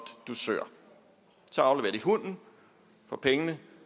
dusør så afleverer de hunden får pengene